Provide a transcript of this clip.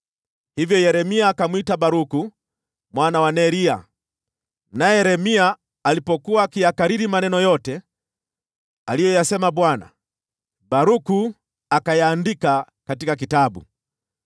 Hivyo Yeremia akamwita Baruku mwana wa Neria, naye Yeremia alipokuwa akiyakariri maneno yote aliyoyasema Bwana , Baruku akayaandika katika kitabu.